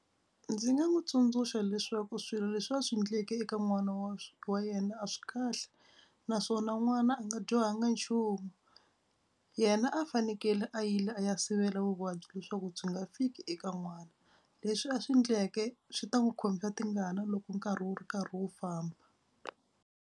Ndzi nga n'wi tsundzuxa leswaku swilo leswi a swi endleke eka n'wana wa wa yena a swi kahle naswona n'wana a nga dyohanga nchumu. Yena a fanekele a yile a ya sivela vuvabyi leswaku byi nga fiki eka n'wana. Leswi a swi endleke swi ta n'wi khomisa tingana loko nkarhi wu ri karhi wu famba.